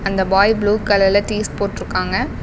அந்த boy blue கலர்ல tees போட்டுருக்காங்க.